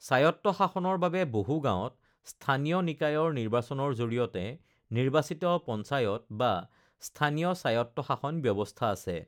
স্বায়ত্ত্ব-শাসনৰ বাবে বহু গাঁৱত স্থানীয় নিকায়ৰ নিৰ্বাচনৰ জৰিয়তে নিৰ্বাচিত পঞ্চায়ত বা স্থানীয় স্বায়ত্ত্ব-শাসন ব্যৱস্থা আছে৷